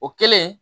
O kɛlen